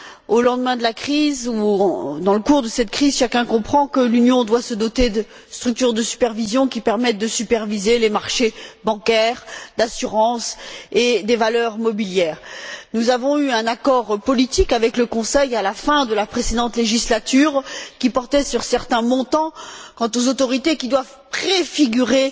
Au lendemain de la crise, ou dans le cours de cette crise, chacun comprend que l'Union doit se doter de structures qui permettent de superviser les marchés bancaires, d'assurances et des valeurs mobilières. Nous avons eu un accord politique avec le Conseil à la fin de la précédente législature, qui portait sur certains montants, quant aux autorités qui doivent préfigurer